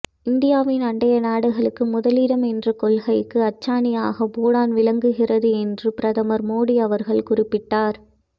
இந்தியாவின் அண்டை நாடுகளுக்கு முதலிடம் என்ற கொள்கைக்கு அச்சாணியாக பூட்டான் விளங்குகிறது என்று பிரதமர் மோதி அவர்கள் குறிப்பிட்டார்